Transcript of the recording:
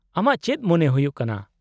-ᱟᱢᱟᱜ ᱪᱮᱫ ᱢᱚᱱᱮ ᱦᱩᱭᱩᱜ ᱠᱟᱱᱟ ?